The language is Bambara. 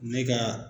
Ne ka